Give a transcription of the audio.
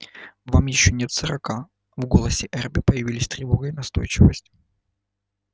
вам ещё нет сорока в голосе эрби появились тревога и настойчивость